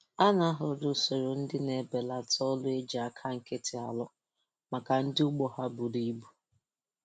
A na-ahọrọ usoro ndị na-ebelata ọrụ eji aka nkịtị arụ maka ụdị arụ maka ụdị ugbo ha buru ibu.